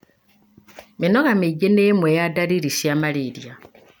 Mĩnoga mĩingĩ nĩ ĩmwe ya ndariri cia malaria.